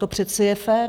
To přece je fér.